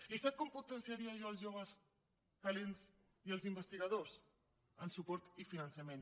i sap com potenciaria jo els joves talents i els investigadors amb suport i finançament